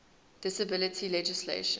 disability legislation